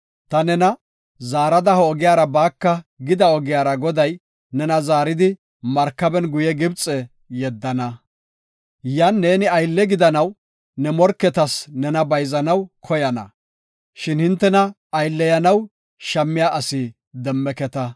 Ta nena, “Zaarada ha ogiyara baaka” gida ogiyara Goday nena zaaridi markaben guye Gibxe yeddana. Yan neeni aylle gidanaw ne morketas nena bayzanaw koyana, shin hintena aylleyanaw shammiya asi demmeketa.